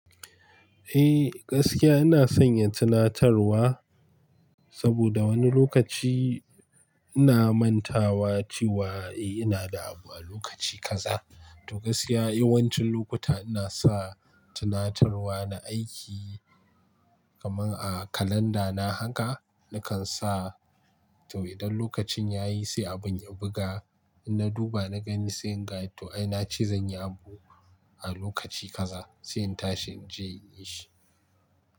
Eh gaskiya ina sanya tunatarwa saboda wani lokaci ina mantawa cewa eh ina da abu a lokaci kaza. To gaskiya yawancin lokuta ina sa tunatarwa na aiki kaman a kalanda na haka nakan sa to idan lokacin yayi sai abun ya buga. In na duba na gani sai gai to ai na ce zan yi abu a lokaci kaza sai in tashi in je in yi shi.